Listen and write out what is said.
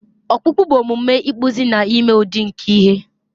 ọkpụkpụ ihe bụ omume ịkpụzi na ime udi nke ihe